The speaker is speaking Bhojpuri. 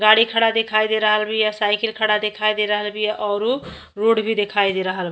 गाड़ी खड़ा दिखाई दे रहल बिया। साइकिल खड़ा दिखाई दे रहल बिया और उ रोड भी दिखाई दे रहल --